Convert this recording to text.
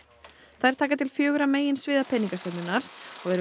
þær taka til fjögurra peningastefnunnar og